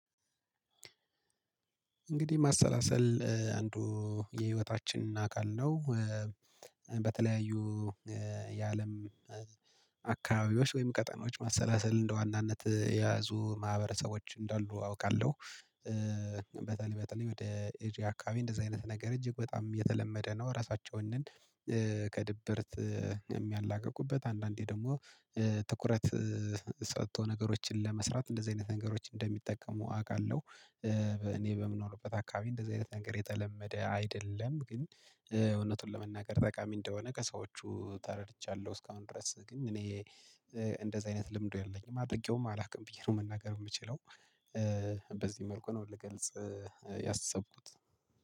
እንግዲህ ማሰላሰል አንዱ የህይወታችን አካል ነው። በተለያዩ የአለም አካባቢዎች ወይም ቀጠኖች ማሰላሰል እንደ ዋናነት የያዙ ማህበረሰቦች እንዳሉ አውቃለሁ። እንግዲህ ማሰላሰል አንዱ የህይወታችን አካል ነው። በተለያዩ የአለም አካባቢዎች ወይም ቀጠናወች ማሰላሰል እንደ ዋናነት የያዙ ማህበረሰቦች እንዳሉ አውቃለሁ። በተለይ በተለይ ወደ እጅ አካባቢ እንደዚህ አይነት ነገር እጅግ በጣም የተለመደ ነው። ራሳቸውን ከድብርት የሚያላቅቁበት አንዳንዴ ደግሞ ትኩረት ሰጥቶ ነገሮችን ለመስራት እንደዚህ አይነት ነገሮች እንደሚጠቀሙ አውቃለሁ። እኔ በምንሆንበት አካባቢ እንደዚህ አይነት ነገር የተለመደ አይደለም። ግን እውነቱን ለመናገር ጠቃሚ እንደሆነ ከሰዎቹ ተረድቻለሁ። እስካሁን ድረስ ግን እኔ እንደዚህ አይነት ልምዱ የለኝም። አጥቂውም አላውቅም ብዬ ነው መናገር የምችለው።